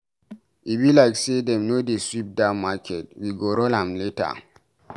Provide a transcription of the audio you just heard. E be like say dem no dey sweep dat market, we go run am later.